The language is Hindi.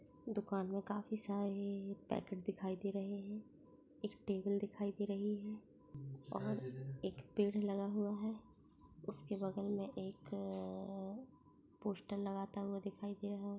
दुकान में काफी सारे पैकेट दिखाई दे रहे हैं एक टेबल दिखाई दे रही है और एक पेड़ लगा हुआ है| उसके बगल में एक अ पोस्टर लगाता हुआ दिखाई दे रहा है।